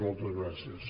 moltes gràcies